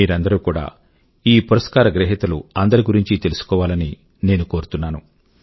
మీరందరూ కూడా ఈ పురస్కార గ్రహీతలు అందరి గురించి తెలుసుకోవాలని నేను కోరుతున్నాను